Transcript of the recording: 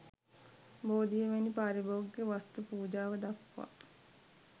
බෝධිය වැනි පාරිභෝගික වස්තු පූජාව දක්වා